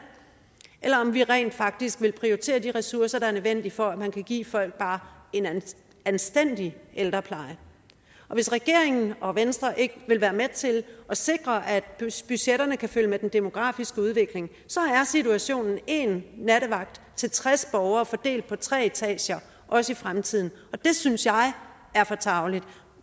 eller om vi rent faktisk vil prioritere de ressourcer der er nødvendige for at man kan give folk bare en anstændig ældrepleje hvis regeringen og venstre ikke vil være med til at sikre at budgetterne kan følge med den demografiske udvikling så er situationen én nattevagt til tres borgere fordelt på tre etager også i fremtiden og det synes jeg er for tarveligt